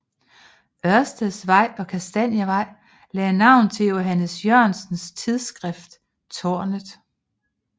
Ørsteds Vej og Kastanievej lagde navn til Johannes Jørgensens tidsskrift Tårnet